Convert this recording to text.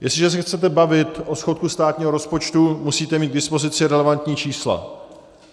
Jestliže se chcete bavit o schodku státního rozpočtu, musíte mít k dispozici relevantní čísla.